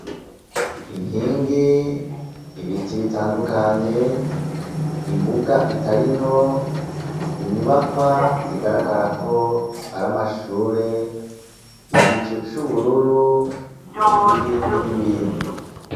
Inkingi ibiti bitandukanye imbuga italinto inyubakwa zigaragara ko aramashure igicu c'ubururu n'ibindi n'ibindi.